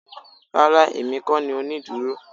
Rárá èmi kó ni onídúró